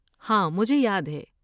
ہاں مجھے یاد ہے۔